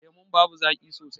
Lemun babu zaƙi sosai.